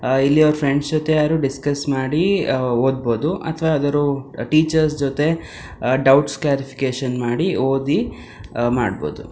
ಆಹ್ಹ್ ಇಲ್ಲಿ ಅವ್ರ ಫ್ರೆಂಡ್ಸ್ ಜೊತೆಯೇ ಆದ್ರೂ ಡಿಸ್ಕಸ್ ಮಾಡಿ ಓದಬಹುದು ಅಥವಾ ಯಾವಾದರೂ ಟೀಚರ್ ಜೊತೆ ಡೌಟ್ ಕ್ಲಾರಿಫಿಕೇಷನ್ ಮಾಡಿ ಓದಿ ಮಾಡಬಹುದು.